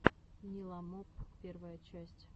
ниламоп первая часть